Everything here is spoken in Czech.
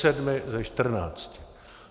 Sedmi ze čtrnácti.